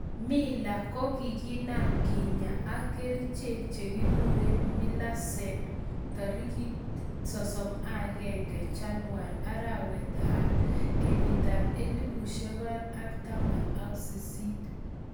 mila kogiinam kinya ak kerichek chigiguren milasen tarigit 31 chanuar arawet 2018